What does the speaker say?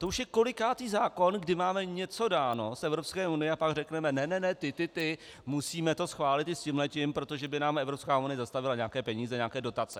To už je kolikátý zákon, kdy máme něco dáno z Evropské unie, a pak řekneme ne ne ne, ty ty ty, musíme to schválit i s tímhletím, protože by nám Evropská unie zastavila nějaké peníze, nějaké dotace.